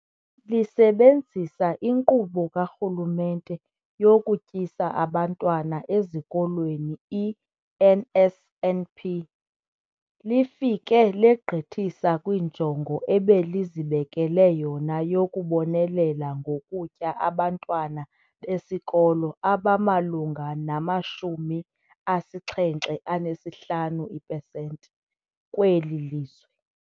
Lisebenzisa iNkqubo kaRhulumente yokuTyisa Abantwana Ezikolweni, i-NSNP, lifike legqithisa kwinjongo ebelizibekele yona yokubonelela ngokutya abantwana besikolo abamalunga nama-75 ipesenti kweli lizwe.